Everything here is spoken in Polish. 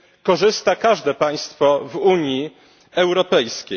korzysta każde państwo w Unii Europejskiej.